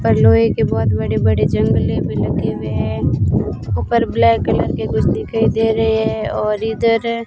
बर्लोइ के बहोत बड़े बड़े जंगले लगे हुए हैं ऊपर ब्लैक कलर के कुछ दिखाई दे रहे हैं और इधर--